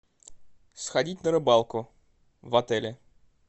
сходить на рыбалку в отеле